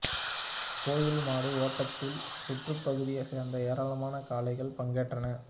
கோயில் மாடு ஓட்டத்தில் சுற்றுப்பகுதியை சேர்ந்த ஏராளமான காளைகள் பங்கேற்றன